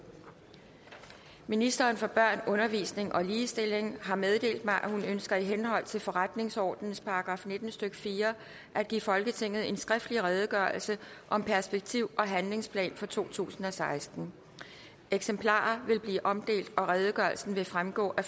ministeren for børn undervisning og ligestilling har meddelt mig at hun ønsker i henhold til forretningsordenens § nitten stykke fire at give folketinget en skriftlig redegørelse om perspektiv og handlingsplan for totusinde og sekstende eksemplarer vil blive omdelt og redegørelsen vil fremgå af